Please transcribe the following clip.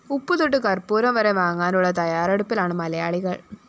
ഉപ്പുതൊട്ട് കര്‍പ്പൂരം വരെ വാങ്ങാനുള്ള തയ്യാറെടുപ്പിലാണ് മലയാളികള്‍